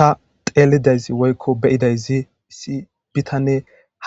Tha xeellida izi woykko be7ida izi issi bithanee